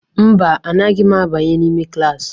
Mba, anaghị m abanye n'ime klaasị.